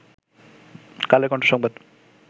কালের কন্ঠ সংবাদ